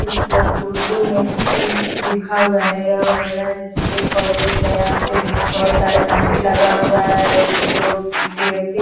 यह उर्दू में लिखा हुआ है यह लग रहा है जैसे कोई कॉलेज है यहाँ पे बहुत सारे साइकिल लगा हुआ है दो व्यक्ति --